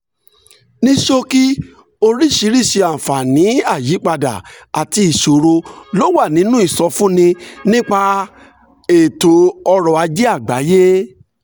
ní ṣókí oríṣiríṣi àǹfààní àyípadà àti ìṣòro ló wà nínú ìsọfúnni nípa ètò ọ̀rọ̀ ajé àgbáyé